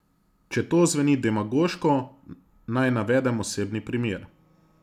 Če to zveni demagoško, naj navedem osebni primer.